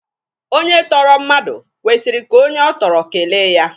Onye tọrọ mmadụ kwesịrị ka onye ọ tọrọ kele ya.